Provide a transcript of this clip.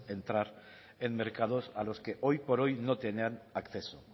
entrar en mercados a los que hoy por hoy no tenían acceso